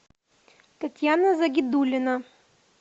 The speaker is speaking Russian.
татьяна загидулина